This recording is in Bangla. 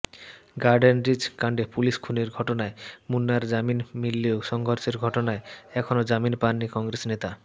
গার্ডেনরিচ কাণ্ডে পুলিস খুনের ঘটনায় মুন্নার জামিন মিললেও সংঘর্ষের ঘটনায় এখনও জামিন পাননি কংগ্রেস নেতা